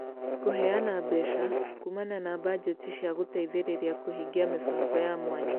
Kũheana mbeca (kuumana na bajeti) cia gũteithĩrĩria kũhingia mĩbango ya mwanya